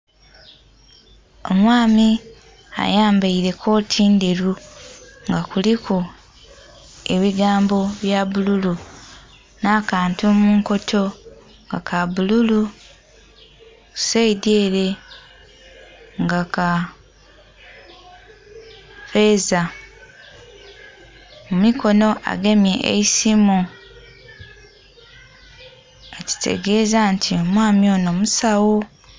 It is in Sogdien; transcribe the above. Omwami ayambaire kooti ndheru nga kuliku ebigambo ebya bbululu nakantu munkoto nga kabbululu saidhi ere nga kaffeza mu mikono agemye eisimu kitegeza nti omwami ono musaw0